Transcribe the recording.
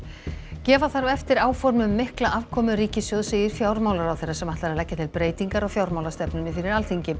gefa þarf eftir áform um mikla afkomu ríkissjóðs segir fjármálaráðherra sem ætlar að leggja til breytingar á fjármálastefnunni fyrir Alþingi